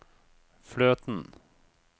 fløten